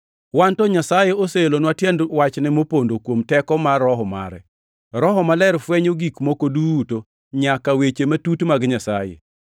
Wan to Nyasaye oseelonwa tiend wachne mopondo kuom teko mar Roho mare. Roho Maler fwenyo gik moko duto, nyaka weche matut mag Nyasaye.